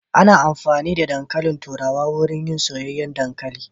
Ana amfani da dankalin turawa wurin yin soyayyen dankalin.